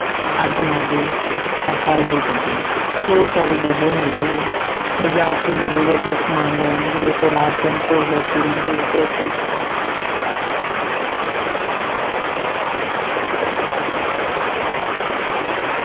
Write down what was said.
ਅੱਜ ਮਰ ਗਈ ਤਾਂ ਕੱਲ੍ਹ ਦੂਜਾ ਦਿਨ ਇਹ ਬੇਚਾਰੀ ਬੇਬੇ ਮਿਲ ਗਈ ਹੈ ਬਾਜ਼ਾਰ ਤੋਂ ਜ਼ਰੂਰਤ ਦਾ ਸਮਾਨ ਲੈ ਆਉਂਦੀ ਹੈ ਤੇ ਰਾਤ ਦਿਨ ਕੋਲ ਬੈਠੀ ਰਹਿੰਦੀ ਹੈ ਤੇ ਅਸੀਂ